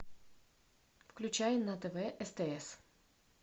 включай на тв стс